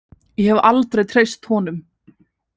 Ég hef aldrei treyst honum.